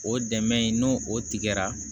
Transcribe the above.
O dɛmɛ in n'o o tigɛra